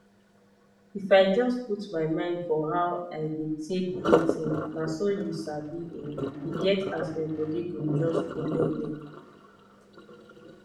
if i jus put my mind for how i de take breath[um]naso u sabi[um]eget as my bodi go jus collellee